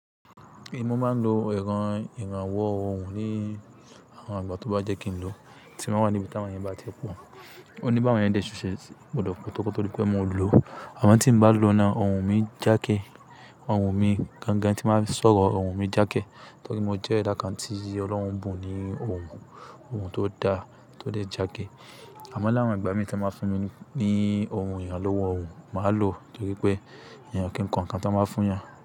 Èmi mo máa ń lo èràn ìrànwọ́ ohùn lé àwọn àgbà tó bá yẹ́ kí n lò, tí ń ba wà níbi tí àwọn èèyàn bá ti pọ̀. Ó ní bá àwọn èèyàn dé ṣuṣẹ, gbọdọ̀ pótó koto di pé mo lò. Àmọ́ tí n bá lò náà, ohùn mi jáke, ohùn mi gangan tí n ba fe sọ̀rọ̀, ohùn mi jáke. Torí mo jẹ́ eda kan tí Ọlọ́run bù ní ohùn, ohùn tó da, tó de jáke. Àmọ́ láà won igbà mí tí wọ́n ba fún mi ní ohùn ìrànlọ́wọ́ ohùn, màá lò torí pé èèyàn kì n ko nǹkan tí wọ́n báa fún ìyàn.